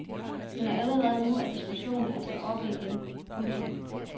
Men allerede nu er diskussionen altså oppe igen. punktum